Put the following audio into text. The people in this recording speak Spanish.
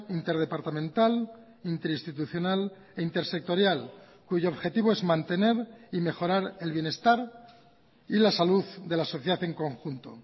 interdepartamental interinstitucional e intersectorial cuyo objetivo es mantener y mejorar el bienestar y la salud de la sociedad en conjunto